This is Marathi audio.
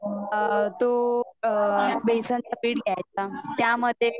अ तो अ बेसन चा पीठ घ्याच आणि त्यामध्ये